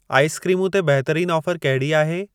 आइसक्रीमूं ते बहितरीन ऑफर कहिड़ी आहे?